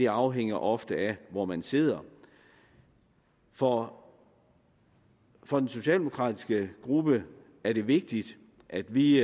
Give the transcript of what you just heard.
afhænger ofte af hvor man sidder for for den socialdemokratiske gruppe er det vigtigt at vi